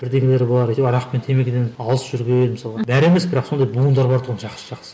бірдеңелері бар арақ пен темекіден алыс жүрген мысалға бәрі емес бірақ сондай буындар бар тұғын жақсы жақсы